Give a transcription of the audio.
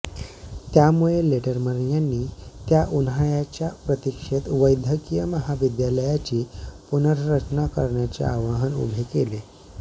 त्यामुळे लेटरमन यांनी त्या उन्हाळ्याच्या प्रतीक्षेत वैद्यकीय महाविद्यालयाची पुनर्रचना करण्याचे आव्हान उभे केले